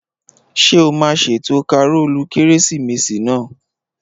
Ṣé o máa ṣètò kàrólù kérésìmesì náà?